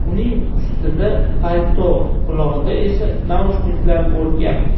Uning ustida palto, qulog‘ida esa naushniklar bo‘lgan.